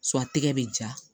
a tɛgɛ bɛ ja